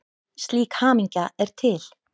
Slík hamingja er til.